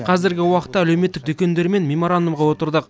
қазіргі уақытта әлеуметтік дүкендермен меморандумға отырдық